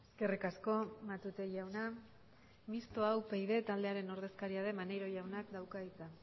eskerrik asko matute jauna mistoa upyd taldearen ordezkaria den maneiro jaunak dauka hitza